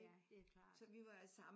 Det er klart